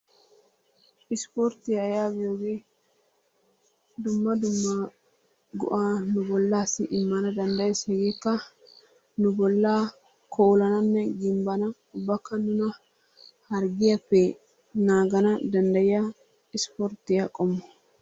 Ispporttiya yaagiyogee dumma dumma go'aa nu bollaassi immana danddayees. Hegeekka nu bollaa koolananne gimbbana ubbakka nuna harggiyappe naagana danddayiya ispporttiya qommo.